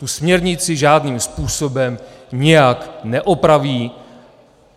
Tu směrnici žádným způsobem nijak neopraví.